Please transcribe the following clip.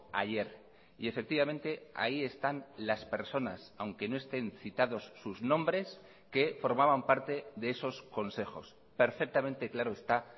ayer y efectivamente ahí están las personas aunque no estén citados sus nombres que formaban parte de esos consejos perfectamente claro está